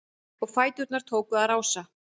Og fæturnir tóku að rása-